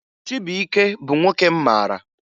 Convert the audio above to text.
Chibuike bụ nwoke m mara